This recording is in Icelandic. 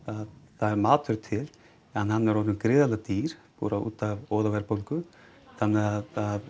það er matur til en hann er orðinn gríðarlega dýr bara út af óðaverðbólgu þannig að